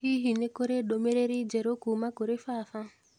Hihi nĩ kũrĩ ndũmĩrĩri njerũ kuuma kũrĩ baba?